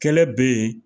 Kɛlɛ be yen